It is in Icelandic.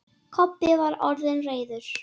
Kobbi var orðinn reiður.